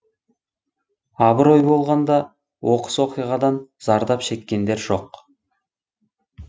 абырой болғанда оқыс оқиғадан зардап шеккендер жоқ